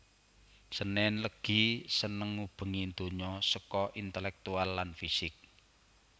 Senin Legi Seneng ngubengi donya seko intelektual lan fisik